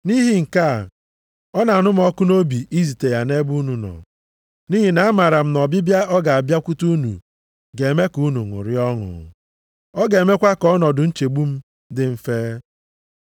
Nʼihi nke a, ọ na-anụ m ọkụ nʼobi izite ya nʼebe unu nọ. Nʼihi na amaara m na ọbịbịa ọ ga-abịakwute unu ga-eme ka unu ṅụrịa ọṅụ. Ọ ga-emekwa ka ọnọdụ nchegbu m dị mfe.